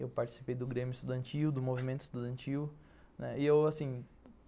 Eu participei do Grêmio Estudantil, do Movimento Estudantil, né, e eu assim